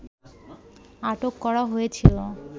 আটক করা হয়েছিল